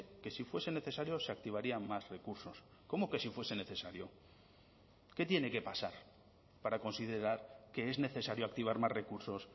que si fuese necesario se activarían más recursos cómo que si fuese necesario qué tiene que pasar para considerar que es necesario activar más recursos